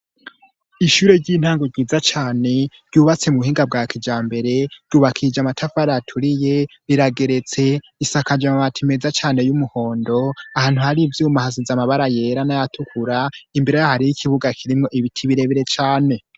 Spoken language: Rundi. Ishure ry'intango ryiza cane ryubatse mu buhinga bwa kija mbere ryubakije amatafu araturiye birageretse isakaje amabati meza cane y'umuhondo ahantu hari ivyuma ahasizamabara yera n'ayatukura imbere hari yo'ikibuga kirimwo ibiti birebire cane.